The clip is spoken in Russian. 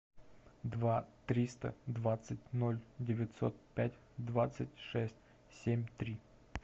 два триста двадцать ноль девятьсот пять двадцать шесть семь три